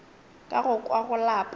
ka go kwa go lapa